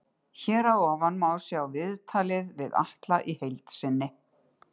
Hér að ofan má sjá viðtalið við Atla í heild sinni.